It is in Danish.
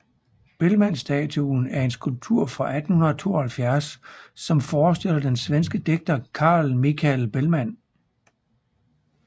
Bellmanstatuen er en skulptur fra 1872 som forestiller den svenske digter Carl Michael Bellman